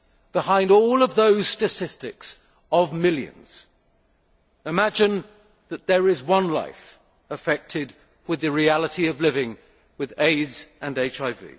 Behind all of those statistics of millions, imagine that there is one life affected with the reality of living with AIDS and HIV.